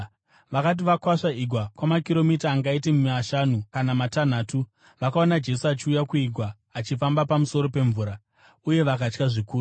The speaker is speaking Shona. Vakati vakwasva igwa kwamakiromita angaita mashanu kana matanhatu, vakaona Jesu achiuya kuigwa, achifamba pamusoro pemvura; uye vakatya zvikuru.